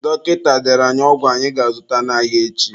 Dọkịta dere anyị ọgwụ anyị ga-azụta n'ahịa echi.